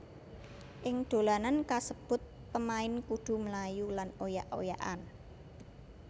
Ing dolanan kasebut pemain kudu mlayu lan oyak oyakan